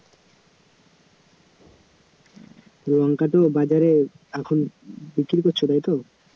লঙ্কা তো এখন বাজারে বিক্রী করছ তাই তো?